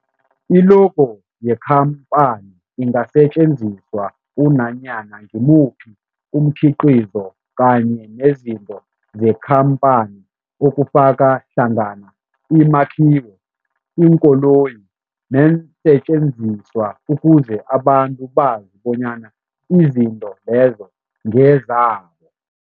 I-logo yekhamphani ingasetjenziswa kunanyana ngimuphi umkhiqizo kanye nezinto zekhamphani okufaka hlangana imakhiwo, iinkoloyi neensentjenziswa ukuze abantu bazi bonyana izinto lezo ngezabo.